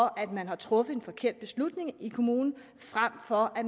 at man har truffet en forkert beslutning i kommunen frem for at